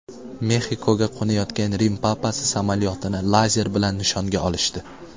Mexikoga qo‘nayotgan Rim papasi samolyotini lazer bilan nishonga olishdi.